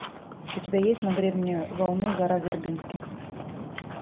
у тебя есть на гребне волны гора вербински